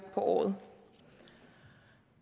på året